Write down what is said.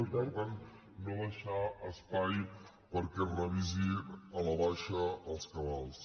per tant no deixar espai perquè es revisin a la baixa els cabals